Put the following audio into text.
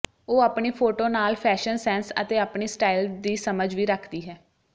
ਉਹ ਆਪਣੀ ਫੋਟੋ ਨਾਲ ਫ਼ੈਸ਼ਨ ਸੈਂਸ ਅਤੇ ਆਪਣੀ ਸਟਾਇਲ ਦੀ ਸਮਝ ਵੀ ਰੱਖਦੀ ਹੈ